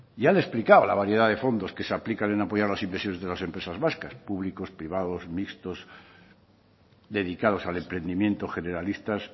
ya le he explicado la variedad de fondos que se aplican en apoyar las inversiones de las empresas vascas público privados mixtos dedicados al emprendimiento generalistas